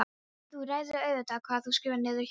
En þú ræður auðvitað hvað þú skrifar niður hjá þér.